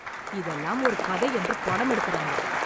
இதெல்லாம் ஒரு கதை என்று படம் எடுக்குறாங்க